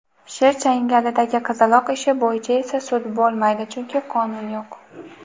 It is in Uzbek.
sher changalidagi qizaloq ishi bo‘yicha esa sud bo‘lmaydi: chunki qonun yo‘q.